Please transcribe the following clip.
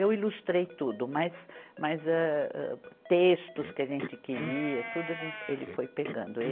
Eu ilustrei tudo, mas, mas âh âh, textos que a gente queria, tudo a gente, ele foi pegando. ele